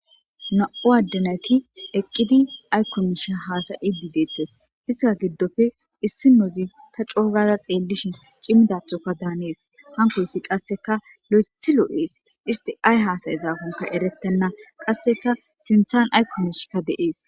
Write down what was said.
Nam'u adde nayti eqqidi ayko miishshe hasa'idi dettees izeta giddoppe issinozi ta coo gada xeellishin cimdathoka danees hankoyssi qasseka lo'eththi lo'es isti ay hasa'iyakonne erettenna qasseka sinththan ayko miishshika de'es.